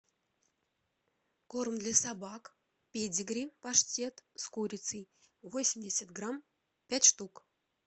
корм для собак педигри паштет с курицей восемьдесят грамм пять штук